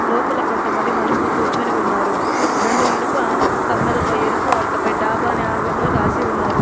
లోపల కొంతమంది మనుషులు కూర్చొని ఉన్నారు. రెండు ఇనుప కమ్మెలపై ఎరుపు అట్టపై డాబా అని ఆంగ్లంలో రాసి ఉన్నారు.